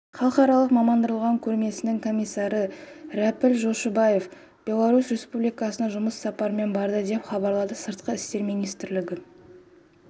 халықаралық мамандандырылған көрмесінің комиссары рәпіл жошыбаев беларусь республикасына жұмыс сапарымен барды деп хабарлады сыртқы істер министрлігі